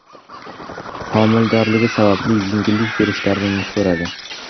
Homiladorligi sababli yengillik berishlarini so‘radi.